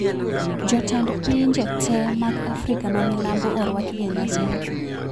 Jotend pinje tee mag Afrika ma milambo orwaki e nyasi no